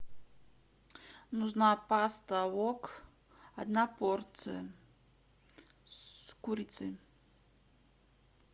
нужна паста вок одна порция с курицей